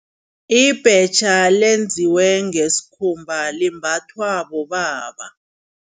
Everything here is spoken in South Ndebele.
Ibhetjha lenziwe ngesikhumba limbathwa bobaba.